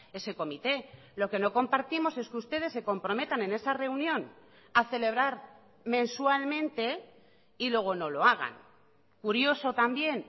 ese comité lo que no compartimos es que ustedes se comprometan en esa reunión a celebrar mensualmente y luego no lo hagan curioso también